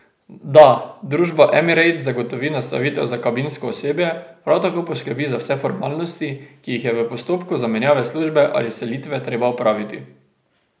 Da, družba Emirates zagotovi nastanitev za kabinsko osebje, prav tako poskrbi za vse formalnosti, ki jih je v postopku zamenjave službe ali selitve treba opraviti.